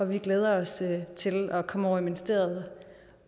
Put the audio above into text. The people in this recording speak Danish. vi glæder os til at komme over i ministeriet